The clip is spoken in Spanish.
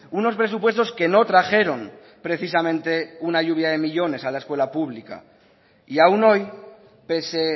unos presupuestos que no trajeron precisamente una lluvia de millónes a la escuela pública y aún hoy pese